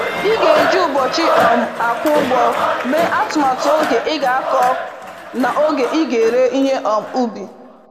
Ị ga-eji ụbọchị um akwụ ụgwọ mee atụmatụ oge ị ga-akọ na oge ị ị ga-ere ihe um ubi.